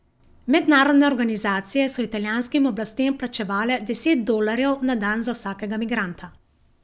Mednarodne organizacije so italijanskim oblastem plačevale deset dolarjev na dan za vsakega migranta.